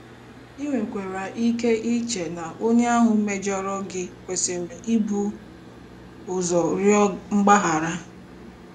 I nwekwara ike iche na onye ahụ mejọrọ gị kwesịrị ibu ụzọ rịọ mgbaghara.